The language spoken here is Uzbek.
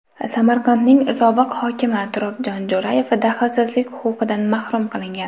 Samarqandning sobiq hokimi Turobjon Jo‘rayev daxlsizlik huquqidan mahrum qilingan.